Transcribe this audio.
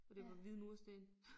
Og det var hvide mursten